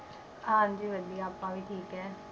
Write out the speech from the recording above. ਹਾਂਜੀ ਵਧੀਆ ਆਪਾਂ ਵੀ ਠੀਕ ਹੈ।